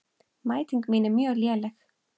Mæting mín er mjög léleg.